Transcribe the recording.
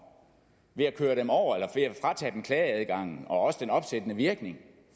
ved at køre dem over eller fratage dem klageadgangen og også den opsættende virkning